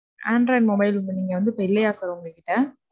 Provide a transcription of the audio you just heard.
Android mobile வந்து, நீங்க வந்து, இப்ப இல்லையா sir உங்ககிட்ட?